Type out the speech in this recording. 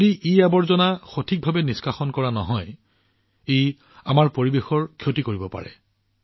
যদি ইআৱৰ্জনা সঠিকভাৱে নিষ্কাশন কৰা নহয় ই আমাৰ পৰিৱেশৰ ক্ষতি কৰিব পাৰে